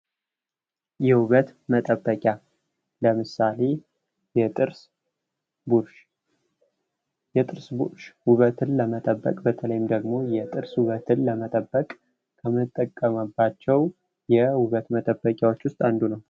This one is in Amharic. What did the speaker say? የዉበት መጠበቂያ ለምሳሌ የጥርስ ቡሩሽ :- የጥርስ ቡሩሽ ዉበትን ለመጠበቅ ወይም ደግሞ የጥርስ ዉበትን ለመጠበቅ ከምንጠቀምባቸዉ የዉበት መጠበቂያዎች ዉስጥ አንዱ ነዉ።